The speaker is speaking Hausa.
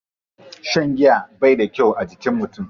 Shan giya bai da kyau a jikin mutum.